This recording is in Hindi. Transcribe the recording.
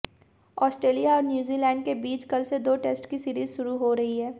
ऑस्ट्रेलिया और न्यूज़ीलैंड के बीच कल से दो टेस्ट की सीरीज़ शुरू हो रही है